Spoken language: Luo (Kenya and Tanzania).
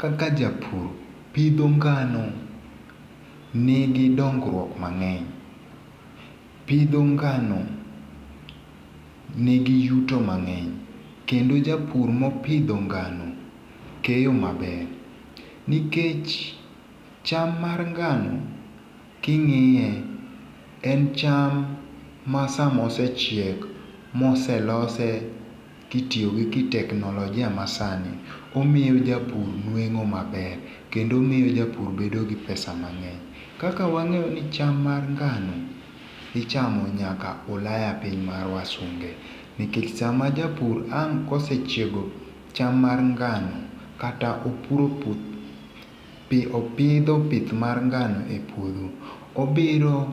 kaka japur, pidho ngano ni gi dongruok mang'eny, pidho ngano ni gi yudo mang'eny, kendo japur mopidho ngano keyo maber nikech cham mar ngano kingiye en cham makosechiek to ilose ka itiyo gi kitechnologia masani omiy japur nwengo maber kendo omiyo japur bedo gi pesa mang'eny, kaka wangeyo ni cham mar ngano ichamo nyaka ulaya piny mar wasunge, nikech sama japur ang' kosechiego cham mar ngano kata opidho pith mar ngano e puotho, obiro